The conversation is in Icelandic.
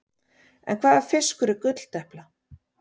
En hvaða fiskur er gulldepla?